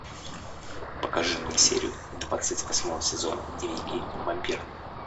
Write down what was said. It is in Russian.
покажи мне серию двадцать восьмого сезона дневники вампира